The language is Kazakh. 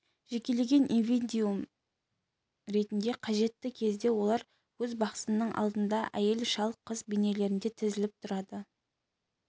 жекелеген индивидиум ретінде қажетті кезде олар өз бақсысының алдында әйел шал қыз бейнелерде тізіліп тұрады